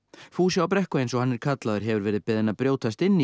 fúsi á Brekku eins og hann er kallaður hefur verið beðinn að brjótast inn í